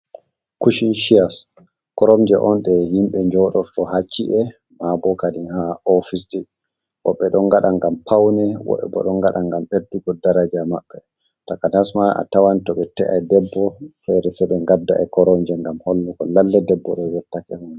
Kushin sheyas, koromje on ɗe himɓe njodo ko ha ci’e mabo kadin ha ofisji woɓɓe ɗon ngaɗa ngam paune, woɓɓe bo ɗon ngaɗa ngam ɓeddugo daraja maɓɓe, takanasma a tawan to ɓe te’ai debbo fere se ɓe ngadda e koromje ngam hollugo lalle debbo ɗo yottake.